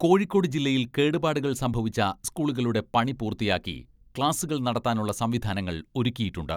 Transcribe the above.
കോഴിക്കോട് ജില്ലയിൽ കേടുപാടുകൾ സംഭവിച്ച സ്കൂളുകളുടെ പണി പൂർത്തിയാക്കി, ക്ലാസ്സുകൾ നടത്താനുള്ള സംവിധാനങ്ങൾ ഒരുക്കിയിട്ടുണ്ട്.